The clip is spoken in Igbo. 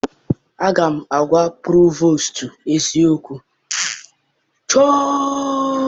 Aga m agwa provostu eziokwu!